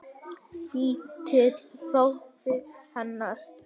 Litli bróðirinn hennar.